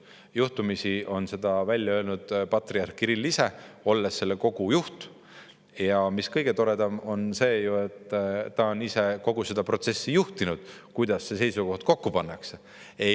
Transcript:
Juhtumisi on seda välja öelnud patriarh Kirill ise, olles selle kogu juht, ja mis kõige toredam, ta on ise juhtinud kogu seda protsessi, kuidas neid seisukohti kokku pannakse.